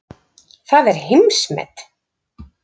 Það er heimsmet.